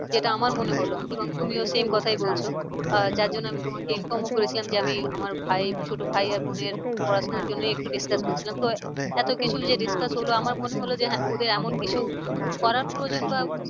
যেটা আমার মনে হলো। এবং তুমিও same কথাই বলছো আহ যার জন্য আমি তোমাকে inform করে ছিলাম যে আমি আমার ভাইয়ের ছোটো ভাই আর বোনের পড়া শোনার জন্যই একটু discuss করছিলাম। তো এত কিছু যে discuss হলো আমার মনে হলো যে হ্যাঁ ওদের এমন কিছু করার প্রয়োজন বা